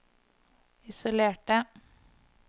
isolerte